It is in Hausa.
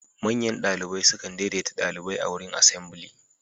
Manyan ɗalibai sukan daideta ɗalibai a wurin asambly.